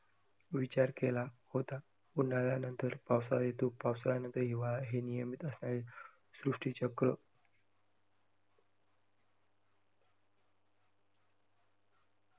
विचार केला होता. उन्हाळ्यानंतर पावसाळा येतो, पावसाळ्यानंतर हिवाळा हे नियमित असे सृष्टिचक्र